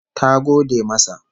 Ta gode masa